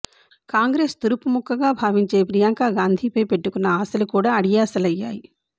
కాంగ్రెస్ తురుపు ముక్కగా భావించే ప్రియాంక గాంధీపై పెట్టుకున్న ఆశలు కూడా అడియాశలయ్యాయి